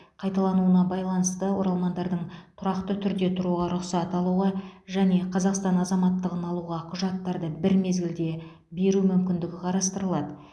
қайталануына байланысты оралмандардың тұрақты түрде тұруға рұқсат алуға және қазақстан азаматтығын алуға құжаттарды бір мезгілде беру мүмкіндігі қарастырылады